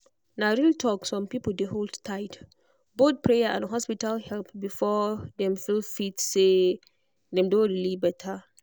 na real talk some people dey hold tight both prayer and hospital help before dem fit feel say dem don really better.